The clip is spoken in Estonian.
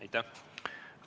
Aitäh!